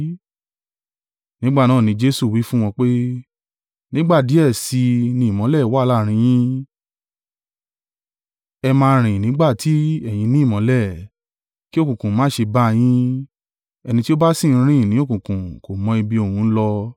Nígbà náà ni Jesu wí fún wọn pé, “Nígbà díẹ̀ sí i ni ìmọ́lẹ̀ wà láàrín yín, ẹ máa rìn nígbà tí ẹ̀yin ní ìmọ́lẹ̀, kí òkùnkùn má ṣe bá yín, ẹni tí ó bá sì ń rìn ní òkùnkùn kò mọ ibi òun ń lọ.